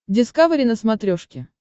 дискавери на смотрешке